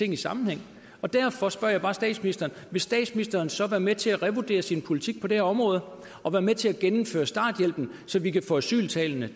en sammenhæng derfor spørger jeg bare statsministeren vil statsministeren så være med til at revurdere sin politik på det her område og være med til at genindføre starthjælpen så vi kan få asyltallene